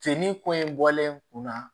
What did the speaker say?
Fini ko in bɔlen kunna